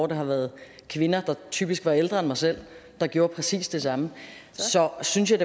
det har været kvinder der typisk var ældre end mig selv der gjorde præcis det samme så synes jeg